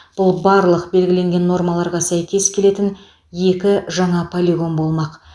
бұл барлық белгіленген нормаларға сәйкес келетін екі жаңа полигон болмақ